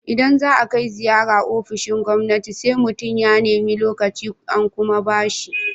Idan za a kai ziyara ofishin gwamnati, sai mutum ya nemi lokaci, an kuma ba shi.